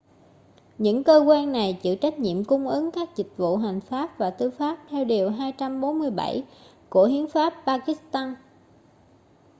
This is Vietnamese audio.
những cơ quan này chịu trách nhiệm cung ứng các dịch vụ hành pháp và tư pháp theo điều 247 của hiến pháp pakistan